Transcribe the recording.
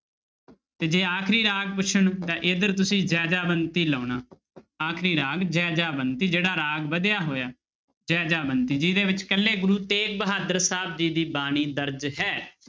ਤੇ ਜੇ ਆਖਰੀ ਰਾਗ ਪੁੱਛਣ ਤਾਂਂ ਇੱਧਰ ਤੁਸੀਂ ਜੈਜਾਵੰਤੀ ਲਾਉਣਾ ਆਖਰੀ ਰਾਗ ਜੈਜਾਵੰਤੀ, ਜਿਹੜਾ ਰਾਗ ਵਧਿਆ ਹੋਇਆ, ਜੈਜਾਵੰਤੀ ਜਿਹਦੇ ਵਿੱਚ ਇਕੱਲੇ ਗੁਰੂ ਤੇਗ ਬਹਾਦਰ ਸਾਹਿਬ ਜੀ ਦੀ ਬਾਣੀ ਦਰਜ਼ ਹੈ।